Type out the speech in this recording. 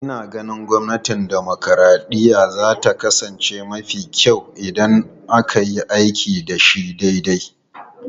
Ina ganin gwamnatin dimokuraɗiyya za ta kasance mafi kyau idan aka yi aiki da shi daidai.